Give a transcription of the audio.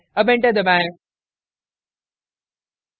अब enter दबाएं